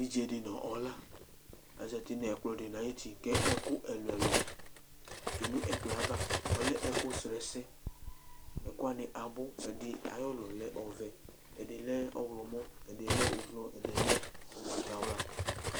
Evidze di nu ɔla azati nu ɛkplɔ di ni ayuti ku ɛku ɛlu ɛlu tsue nu ɛkplɔ yɛ ava ɔlɛ ɛku srɔ ɛsɛ ɛku wani abu ɛdi lɛ ulɔ ɔvɛ, ɛdi lɛ ɔwlɔmɔ, ɛdi lɛ ublɔ, ɛdi lɛ ugbata wla